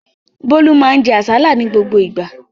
Bólú máa ń jẹ àsálà ní gbogbo ìgbà